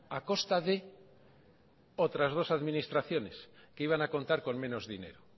a costa de otras dos administraciones que iban a contar con menos dinero